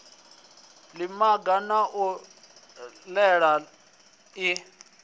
ḽiga ḽa u mela ḽi